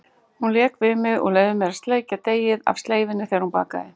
Hún lék við mig og leyfði mér að sleikja deigið af sleifinni þegar hún bakaði.